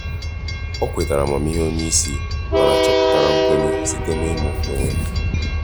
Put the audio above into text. ọ kwètàrà amamihe onye isi mana chọpụtara nkwenye site n’ịmụ onwe ya.